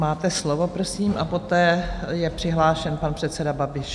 Máte slovo, prosím, a poté je přihlášen pan předseda Babiš.